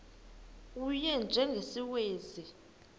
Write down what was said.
u y njengesiwezi